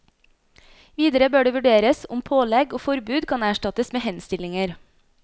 Videre bør det vurderes om pålegg og forbud kan erstattes med henstillinger.